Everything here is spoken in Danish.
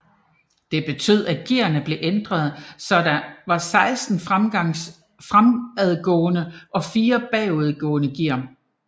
Det betød at gearene blev ændret så der var 16 fremadgående og 4 bagudgående gear